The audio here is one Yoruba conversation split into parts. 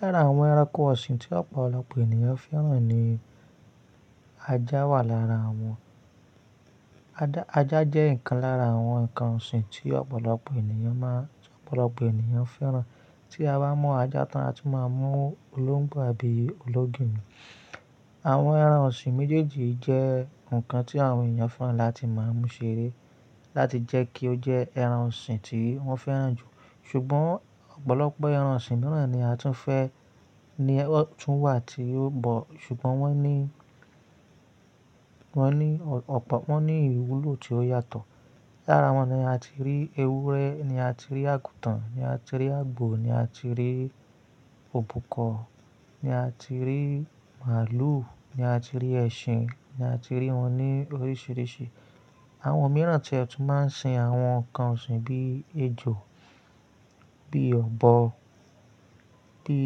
Lára àwọn ẹranko ọ̀sìn tí ọ̀pọ̀lọpọ̀ ènìyàn fẹ́ràn ni ajá wà lára wọn. Ajá jẹ́ ìkan lára àwọn ǹkan ọ̀sìn tí ọ̀pọ̀lọpọ̀ ènìyàn má ń, tí ọ̀pọ̀lọpọ̀ ènìyàn fẹ́ràn. Tí a bá mu ajá tán, a tu máa mu olóǹgbò àbí olóògìní. Àwọn ẹran ọ̀sìn méjèèjì jẹ́ ǹkan tí àwọn ènìyàn fẹ́ràn láti máa mú ṣeré láti jẹ́ kí ó jẹ ẹran sìn tí wọ́n fẹ́ràn jù. Ṣùgbọ́n ọ̀pọ̀lọpọ̀ ẹran sìn mìíràn ni a tún fẹ́, ní ọ tún wà tí yóò bọ̀, ṣùgbọ́n wọ́n ní, wọ́n ní ọ̀pọ̀, wọ́n ní ìwúlò tí ó yàtọ̀. Lára wọn ni a ti rí ewúrẹ́, ni a ti rí àgùtàn, ni a ti rí àgbò, ni a ti rí òbúkọ, ni a ti rí màálù, ni a ti rí ẹṣin, ni a ti rí wọn ní oríṣìíríṣìí. Àwọn mìíràn tí e tún máa ń sìn àwọn ǹkan ọ̀sìn bí èjò, bí ọ̀bọ, bí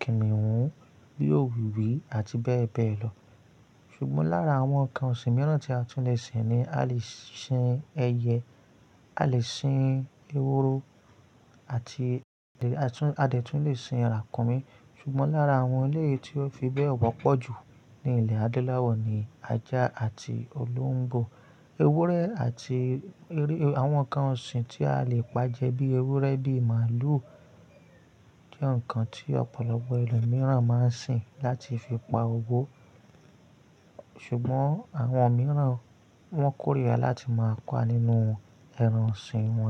kìnìhún, bí òwìwí àti bẹ́ẹ̀ bẹ́ẹ̀ lọ. Ṣùgbọ́n lára àwọn ǹkan ọ̀sìn mìíràn tí a tún lè sìn ni a lè sìn ẹyẹ, a lè sìn eworo àti a tún, a dé tún lè sìn ràkúnmí. Ṣùgbọ́n lára àwọn eleyi tí ó fi bẹ́ẹ̀ wọ́pọ̀ jù ní ilẹ̀ adonláwọ̀ ni ajá àti olóǹgbò. Ewúrẹ́ àti, àwọn ǹkan ọ̀sìn tí a lè pàjẹ́ bí ewúrẹ́ bí màálù jẹ́ ǹkan tí ọ̀pọ̀lọpọ̀ ẹlòmíràn máa ń sìn láti fi pa òwò. Ṣùgbọ́n àwọn mìíràn wọ́n kórìíra láti máa pa nínú ẹran sìn wọn.